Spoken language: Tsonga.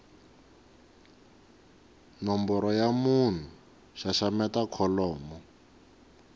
nomboro ya munhu xaxameta kholomo